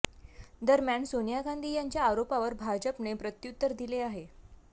दरम्यान सोनिया गांधी यांच्या आरोपावर भाजपने प्रत्युत्तर दिले आहे